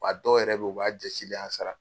A dɔw yɛrɛ bɛ ye u b'a jasileyan sara.